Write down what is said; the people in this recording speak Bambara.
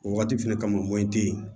O wagati fɛnɛ ka wɔni te yen